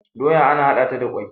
doya ana hada ta da kwai